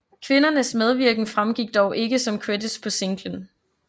Kvindernes medvirken fremgik dog ikke som credits på singlen